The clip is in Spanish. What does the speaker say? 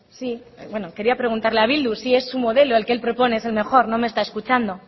sí bueno quería preguntarle a bildu si es su modelo el que el propone es el mejor no me está escuchando